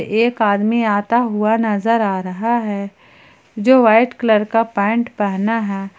एक आदमी आता हुआ नजर आ रहा है जो वाइट कलर का पैंट पहना है।